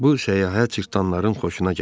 Bu səyahət cırtdanların xoşuna gəldi.